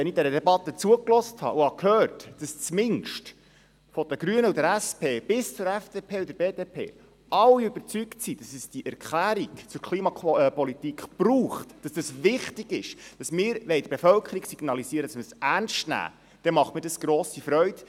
Wenn ich dieser Debatte zugehört und gehört habe, dass zumindest von den Grünen und der SP bis zur FDP und der BDP alle überzeugt sind, dass es diese Erklärung zur Klimapolitik braucht und es wichtig ist und wir der Bevölkerung signalisieren wollen, dass wir dies ernst nehmen, dann bereitet mir dies grosse Freude.